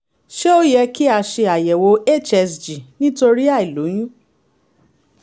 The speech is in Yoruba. ṣé ó yẹ kí a ṣe àyẹ̀wò hsg nítorí àìlóyún?